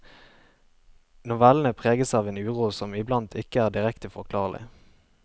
Novellene preges av en uro som iblant ikke er direkte forklarlig.